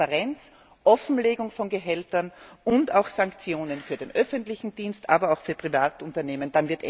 Mehr Transparenz, Offenlegung von Gehältern und Sanktionen für den öffentlichen Dienst, aber auch für private Unternehmen.